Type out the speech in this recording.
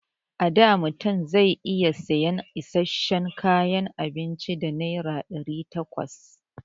A da mutum zai iya sayan isasshen kayan abinci da naira ɗari takwas.